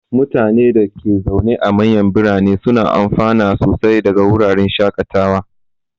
Mutanen da ke zaune a manyan birane suna amfana sosai daga wuraren shakatawa.